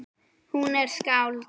Hún er skáld.